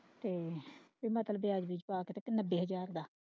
ਤੇ ਨੱਬੇ ਹਜ਼ਾਰ ਦਾ।